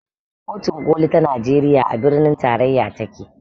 Kotun koli ta najeriya a birnin tarayya take